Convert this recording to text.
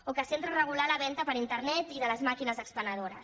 o que s’entra a regular la venda per internet i de les màquines expenedores